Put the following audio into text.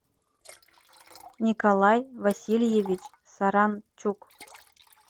николай васильевич саранчук